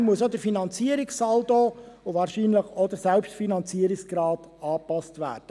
Entsprechend müssen auch der Finanzierungssaldo und wahrscheinlich auch der Selbstfinanzierungsgrad angepasst werden.